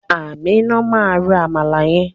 Aminat ma ro àmàlà yẹn.